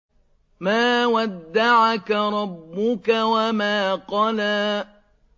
مَا وَدَّعَكَ رَبُّكَ وَمَا قَلَىٰ